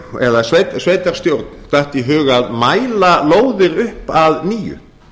eða sveitarstjórn datt í hug að mæla lóðir upp að nýju